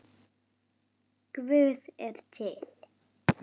Guð er til.